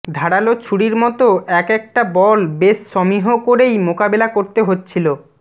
ধারালো ছুরির মতো একেকটা বল বেশ সমীহ করেই মোকাবেলা করতে হচ্ছিলো